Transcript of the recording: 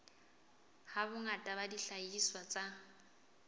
ha bongata ba dihlahiswa tsa